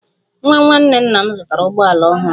Nwa nwanne nna m zụtara ụgbọ ala ọhụrụ